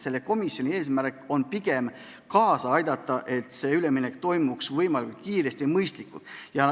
Selle komisjoni eesmärk on pigem kaasa aidata, et see üleminek toimuks võimalikult kiiresti ja mõistlikult.